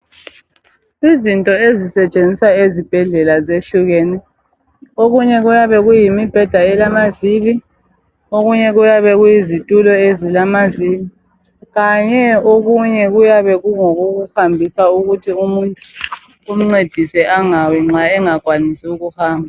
Izinto ezisetshenziswa ezibhedlela zehlukene. Okunye kuyabe kuyimibheda elamavili, okunye kuyabe kuyizitulo ezilamavili, kanye okunye kuyabe kungokokuhambisa ukuthi umuntu kumncedise angawi nxa engakwanisi ukuhamba.